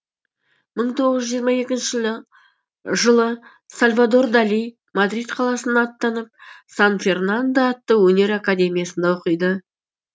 мың тоғыз жүз жиырма екінші жылы сальвадор дали мадрид қаласына аттанып сан фернандо атты өнер академиясында оқиды